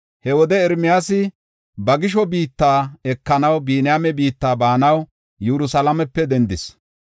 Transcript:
He wode Ermiyaasi ba gisho biitta ekanaw Biniyaame biitta baanaw Yerusalaamepe dendis.